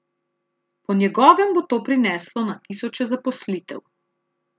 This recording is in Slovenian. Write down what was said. Po njegovem bo to prineslo na tisoče zaposlitev.